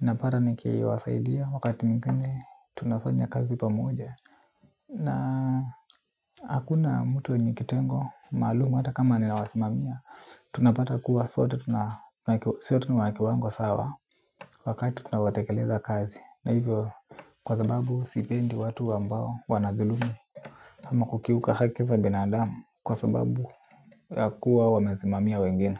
Napata nikiwasaidia wakati mwingine tunafanya kazi pamoja. Na hakuna mtu wenye kitengo maalum hata kama ninawasimamia. Tunapata kuwa sote tuna ki sote ni wa kiwango sawa wakati tunaotekeleza kazi. Na hivyo kwa sababu sipendi watu ambao wanadhilumu. Ama kukiuka haki za binadamu kwa sababu ya kuwa wamezimamia wengine.